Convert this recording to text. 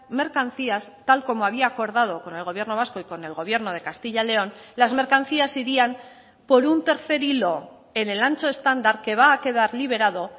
mercancías tal como había acordado con el gobierno vasco y con el gobierno de castilla león las mercancías irían por un tercer hilo en el ancho estándar que va a quedar liberado